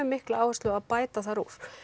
mikla áherslu á að bæta það